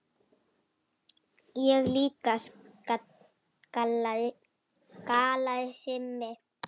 Ég líka galaði Simmi.